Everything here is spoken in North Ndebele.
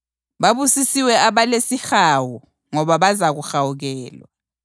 Babusisiwe abalesihawu ngoba bazakuhawukelwa.